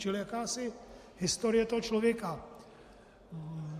Čili jakási historie toho člověka.